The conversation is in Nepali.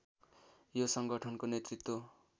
यो संगठनको नेतृत्व